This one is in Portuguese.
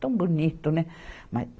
Tão bonito, né? Mas